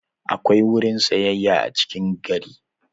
Akwai sabon wurin sayayya a cikin gari.